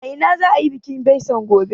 A ina za a yi bikin bison gobe?